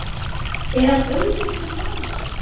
Er hann öðruvísi en vanalega?